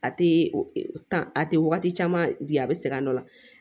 A tɛ a tɛ wagati caman di a bɛ sɛgɛn dɔ la